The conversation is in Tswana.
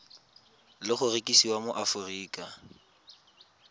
le go rekisiwa mo aforika